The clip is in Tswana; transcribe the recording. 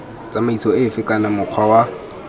tsamaiso efe kana mokgwa wa